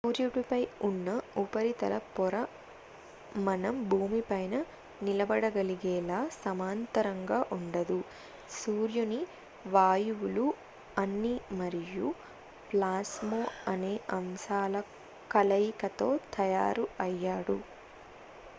సూర్యుడిపై ఉన్న ఉపరితల పొర మనం భూమిపైన నిలబడగలిగేలా సమాంతరంగా ఉండదు సూర్యుని వాయువులు అగ్ని మరియు ప్లాస్మా అనే అంశాల కలయికతో తయారు అయ్యాడు